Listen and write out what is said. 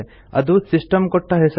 ಅದು ಸಿಸ್ಟಂ ಕೊಟ್ಟ ಹೆಸರು